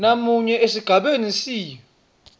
namunye esigabeni c